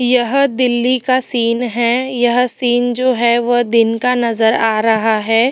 यह दिल्ली का सीन है यह सीन जो है वो दिन का नजर आ रहा है।